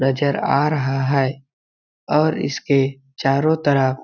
नज़र आ रहा है और इसके चारों तरफ--